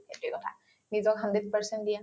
সেইটোয়ে কথা নিজক hundred percent দিয়া